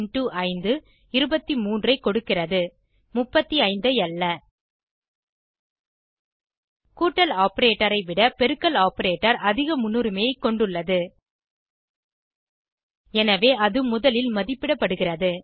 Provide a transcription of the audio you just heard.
23 ஐ கொடுக்கிறது 35 ஐ அல்ல கூட்டல் ஆப்பரேட்டர் ஐ விட பெருக்கல் ஆப்பரேட்டர் அதிக முன்னுரிமைக் கொண்டுள்ளது எனவே அது முதலில் மதிப்பிடப்படுகிறது